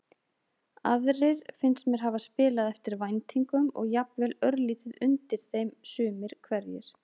Aðrir finnst mér hafa spilað eftir væntingum og jafnvel örlítið undir þeim sumir hverjir.